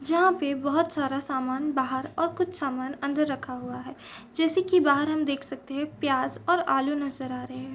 जहां पर बहुत सारा सामान बाहर और कुछ सामान अंदर रखा हुआ है जैसे कि बाहर हम देख सकते हैं प्याज और आलू नजर आ रहे हैं।